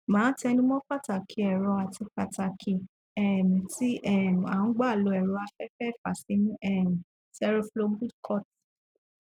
màá tẹnu mọ pàtàkì ẹrọ àti ọnà um tí um à ń gbà lo ẹrọ afẹfẹ ìfàsímú um seroflowbudecort